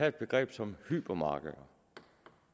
et begreb som hypermarked